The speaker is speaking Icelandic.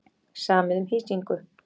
Samið um hýsingu